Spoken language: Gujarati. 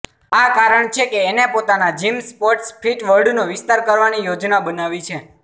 આ કારણ છે કે એને પોતાના જિમ સ્પોર્ટ્સ ફિટ વર્લ્ડનો વિસ્તાર કરવાની યોજના બનાવી છે